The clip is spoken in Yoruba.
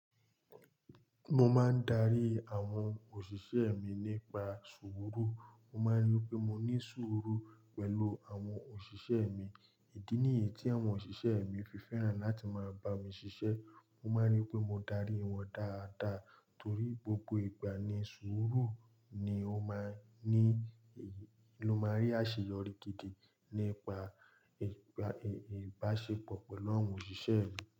Mo máa ń darí àwọn òṣìṣẹ́ mi nípa sùúrù. Mo máa ń rí pé mo ní sùúrù pẹ̀lú àwọn òṣìṣẹ́ mi. Èyí ni èyí tí àwọn òṣìṣẹ́ mi fi fẹ́ràn láti máa bá mi ṣiṣẹ́. Wọ́n máa ń rí pé mo dárí wọn dáadáa torí gbogbo igba ni sùúrú ni ó máa ń ní, ló máa ń rí àṣeyọrí gidi nípa ìbáṣepọ̀ pẹ̀lú àwọn òṣìṣẹ́ mi.